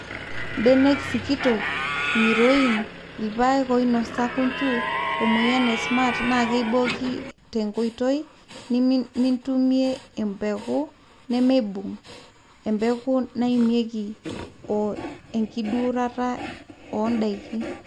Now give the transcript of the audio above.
mbenek sikitok, ng`iroin, ilpaek oinosa kunchu, emoyian e smut naa keiboki tenkoitoi nintumia embeku nemeibung, embeku naimieki, oo enkidurata oo ndaiki